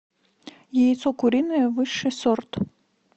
яйцо куриное высший сорт